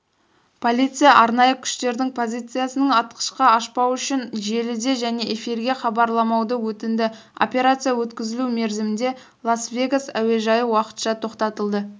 полиция арнайы күштердің позициясының атқышқа ашпау үшін желіде және эфирге хабарламауды өтінді операция өткізілу мерзімінде лас-вегас әуежайы уақытша тоқтатылды